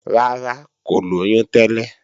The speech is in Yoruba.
Rárá, kò lóyún tẹ́lẹ̀